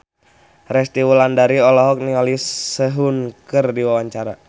Resty Wulandari olohok ningali Sehun keur diwawancara